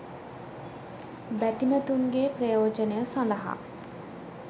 බැතිමතුන්ගේ ප්‍රයෝජනය සඳහා